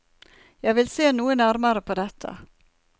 Jeg vil se noe nærmere på dette.